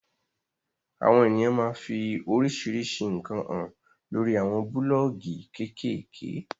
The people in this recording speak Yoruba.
Awon eniyan maa fi orisirisi nkan han lori awon buloogi kekeeke